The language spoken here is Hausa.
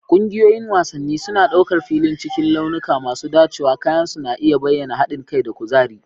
Ƙungiyoyin wasanni suna ɗaukar filin cikin launuka masu dacewa, kayan su na iya bayyana haɗin kai da kuzari.